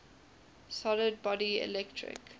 solid body electric